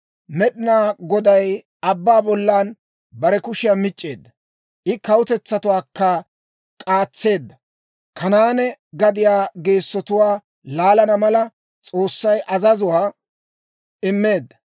Med'inaa Goday abbaa bollan bare kushiyaa mic'c'eedda; I kawutetsaakka k'aatseedda; Kanaane gadiyaa geessotuwaa laalana mala, S'oossay azazuwaa immeedda.